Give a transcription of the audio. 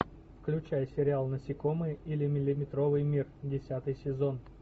включай сериал насекомые или миллиметровый мир десятый сезон